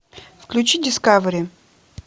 включи дискавери